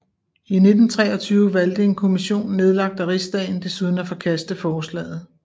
I 1923 valgte en kommission nedlagt af Rigsdagen desuden at forkaste forslaget